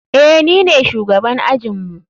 Eh, nine shugaban ajinmu.